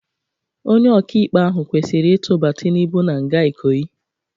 Onye ọka-ikpe ahụ kwesịrị itụba Tinubu na-nga Ikoyi.